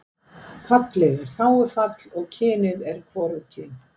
Fallið er þágufall og kynið hvorugkyn.